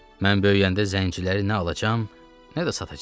Mən böyüyəndə zənciləri nə alacam, nə də satacam.